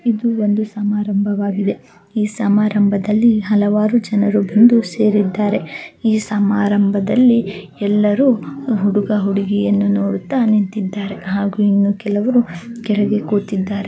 ಇಲ್ಲಿ ಒಂದು ಸಮಾರಂಭ ನಡೆಯುತ್ತಿದೆ ಈ ಸಮಾರಂಭದಲ್ಲಿ ಎಲ್ಲರೂ ಸೇರಿದ್ದಾರೆ ಈ ಸಮಾರಂಭದಲ್ಲಿ ಎಲ್ಲರೂ ಹುಡುಗ ಹುಡಿಯನ್ನು ನೋಡುತ್ತಾ ನಿಂತಿದ್ದಾರೆ ಕೆಲವ್ರು ಕೂತಿದ್ದಾರೆ.